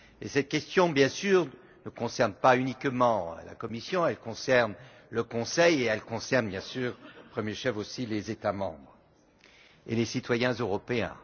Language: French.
Cette question ne concerne pas uniquement la Commission, elle concerne le Conseil et elle concerne au premier chef aussi les États membres et les citoyens européens.